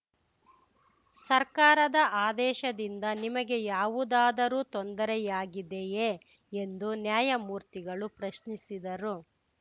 ಸರ್ಕಾರದ ಆದೇಶದಿಂದ ನಿಮಗೆ ಯಾವುದಾದರೂ ತೊಂದರೆಯಾಗಿದೆಯೇ ಎಂದು ನ್ಯಾಯಮೂರ್ತಿಗಳು ಪ್ರಶ್ನಿಸಿದರು